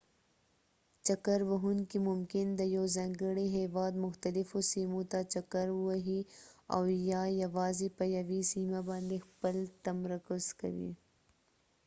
چکر وهونکي ممکن د یوه ځانګړي هیواد مختلفو سیمو ته چکر ووهي او یا یوازې په یوې سیمه باندې خپل تمرکز کوي